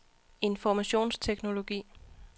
informationsteknologi